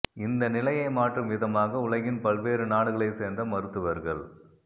இந்த நிலையை மாற்றும் விதமாக உலகின் பல்வேறு நாடுகளை சேர்ந்த மருத்துவர்கள்